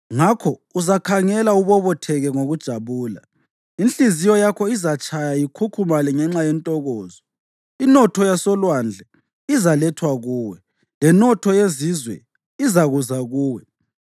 Ngakho uzakhangela ubobotheke ngokujabula, inhliziyo yakho izatshaya ikhukhumale ngenxa yentokozo; inotho yasolwandle izalethwa kuwe, lenotho yezizwe izakuza kuwe.